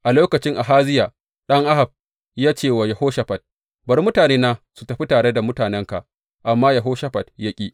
A lokacin Ahaziya ɗan Ahab ya ce wa Yehoshafat, Bari mutanena su tafi tare da mutanenka, amma Yehoshafat ya ƙi.